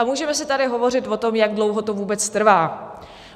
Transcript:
A můžeme si tady hovořit o tom, jak dlouho to vůbec trvá.